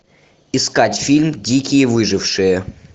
искать фильм дикие выжившие